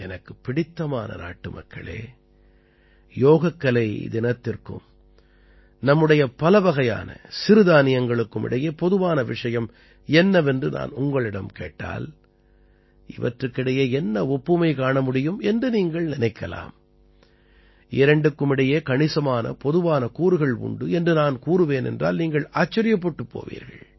எனக்குப் பிடித்தமான நாட்டுமக்களே யோகக்கலை தினத்திற்கும் நம்முடைய பலவகையான சிறுதானியங்களுக்கும் இடையே பொதுவான விஷயம் என்னவென்று நான் உங்களிடம் கேட்டால் இவற்றுக்கிடையே என்ன ஒப்புமை காண முடியும் என்று நீங்கள் நினைக்கலாம் இரண்டுக்கும் இடையே கணிசமான பொதுவான கூறுகள் உண்டு என்று நான் கூறுவேன் என்றால் நீங்கள் ஆச்சரியப்பட்டுப் போவீர்கள்